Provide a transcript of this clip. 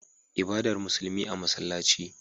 Ibadar musulmi a masallaci